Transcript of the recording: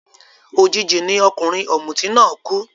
Òjijì ni ọkùnrin ọ̀mùtí náà kú